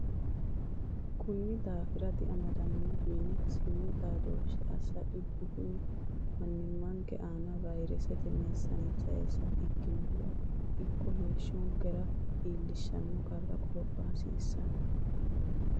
Konni daafira diamadantino yine siimu xaadooshshe assa dhibbu kuni mannimmanke anna vayresete meessaneete sayse ikkinohura ikko heeshshonkera iillishanno qarri qoropha hasiissanno.